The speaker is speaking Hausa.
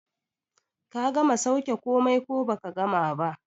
Ka gama sauke komai ko baka gama ba?